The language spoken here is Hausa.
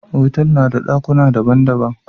Otal na da dakuna daban-daban.